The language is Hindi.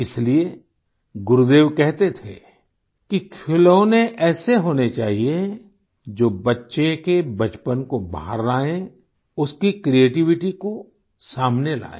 इसलिए गुरुदेव कहते थे कि खिलौने ऐसे होने चाहिए जो बच्चे के बचपन को बाहर लाये उसकी क्रिएटिविटी को सामने लाए